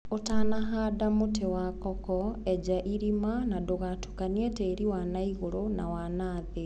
ũtanahanda mũtĩ wa koko enja irima na ndũgatukanie tĩri wanaigũru na wanathĩ.